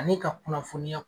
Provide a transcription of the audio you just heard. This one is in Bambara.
Ani ka kuna kunnafonyaw